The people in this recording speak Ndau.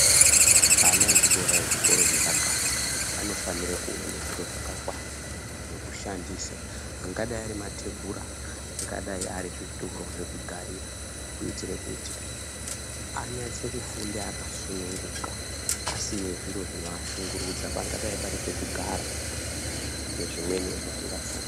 Ana echikora ezvikora zvepakati anofanira kuona zviro zvakakwana, zvekushandisa angadai ari matebhura, angadai zvituru zvekugarira kuitire kuti anase kufunda akasununguka asina zviro zvinovashungurudza pangadai pari pekugara nezvivmweniwo zvatingafunga.